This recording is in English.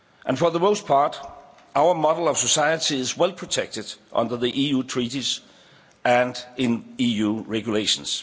For the most part, our model of society is well protected under the EU Treaties and in EU regulations.